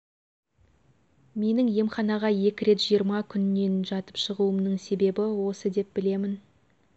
менің емханаға екі рет жиырма күнен жатып шығуымның себебі осы деп білемін